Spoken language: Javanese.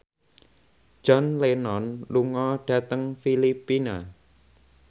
John Lennon lunga dhateng Filipina